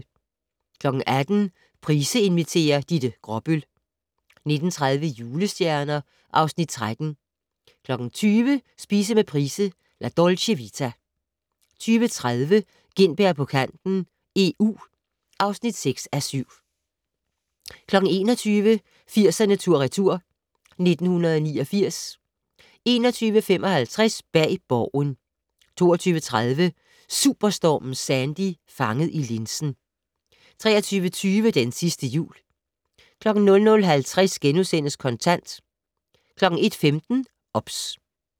18:00: Price inviterer - Ditte Gråbøl 19:30: Julestjerner (Afs. 13) 20:00: Spise med Price - La Dolce Vita 20:30: Gintberg på kanten - EU (6:7) 21:00: 80'erne tur/retur: 1989 21:55: Bag Borgen 22:30: Superstormen Sandy - fanget i linsen 23:20: Den sidste jul 00:50: Kontant * 01:15: OBS